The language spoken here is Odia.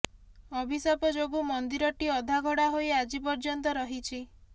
ଅଭିଶାପ ଯୋଗୁଁ ମନ୍ଦିରଟି ଅଧାଗଢ଼ା ହୋଇ ଆଜି ପର୍ଯ୍ୟନ୍ତ ରହିଛି